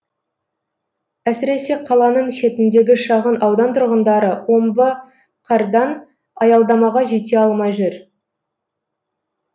әсіресе қаланың шетіндегі шағын аудан тұрғындары омбы қардан аялдамаға жете алмай жүр